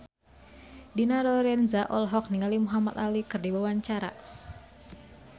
Dina Lorenza olohok ningali Muhamad Ali keur diwawancara